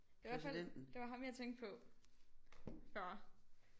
Det var i hvert fald det var ham jeg tænkte på før